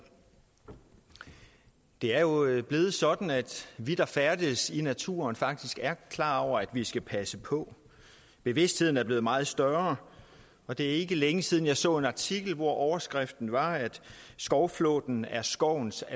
det er jo blevet sådan at vi der færdes i naturen faktisk er klar over at vi skal passe på bevidstheden er blevet meget større og det er ikke længe siden jeg så en artikel hvor overskriften var at skovflåten er skovens